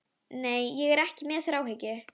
Nei, ég er ekki með þráhyggju.